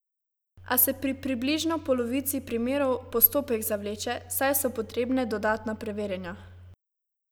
A se pri približno polovici primerov postopek zavleče, saj so potrebne dodatna preverjanja.